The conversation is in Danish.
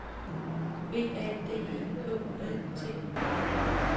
B A D E K U L T U R